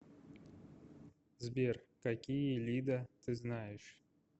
сбер какие лида ты знаешь